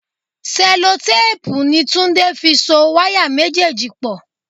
Sẹ́lótéèpu ni Túndé fi so wáyà méjèèjì pò.